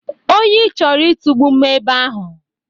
Oyi chọrọ itugbu m ebe ahụ.